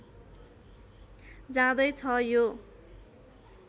जाँदै छ यो